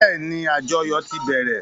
Bẹ́ẹ́ni, àjọyò ti bẹ̀rẹ̀.